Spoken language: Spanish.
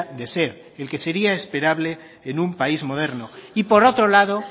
de ser el que sería esperable en un país moderno y por otro lado